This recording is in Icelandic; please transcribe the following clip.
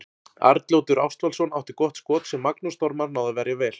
Arnljótur Ástvaldsson átti gott skot sem Magnús Þormar náði að verja vel.